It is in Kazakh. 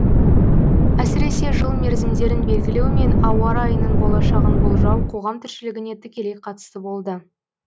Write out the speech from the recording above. әсіресе жыл мерзімдерін белгілеу мен ауа райының болашағын болжау қоғам тіршілігіне тікелей қатысты болды